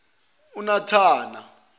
unathana